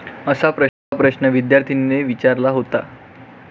असा प्रश्न विद्यार्थीनेने विचारला होता.